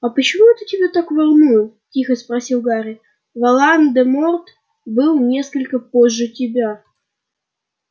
а почему это тебя так волнует тихо спросил гарри волан-де-морт был несколько позже тебя